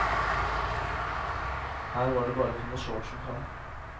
Her var det bare å finne shortsen fram.